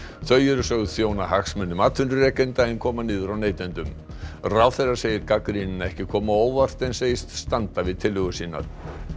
þau eru sögð þjóna hagsmunum atvinnurekenda en koma niður á neytendum ráðherra segir gagnrýnina ekki koma á óvart en segist standa við tillögur sínar